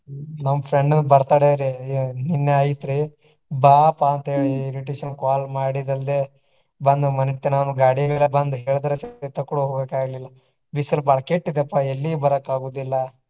ನಮ್ಮ friend ನ birthday ರಿ ಆಹ್ ನಿನ್ನೆ ಆಯತ್ರಿ. ಬಾಪಾ ಅಂತ ಹೇಳಿ invitation call ಮಾಡಿದಲ್ದೆ ಬಂದ ಮನಿ ತನಾನು ಗಾಡಿ ಮ್ಯಾಲ ಬಂದ ಹೇಳಿದ್ರು ಸಹಿತ ಕೂಡಾ ಹೋಗಾಕ ಆಗ್ಲಿಲ್ಲಾ. ಬಿಸಲ ಬಾಳ ಕೆಟ್ಟ ಇದೆಪಾ ಎಲ್ಲಿಗು ಬರಾಕ ಆಗುದಿಲ್ಲಾ.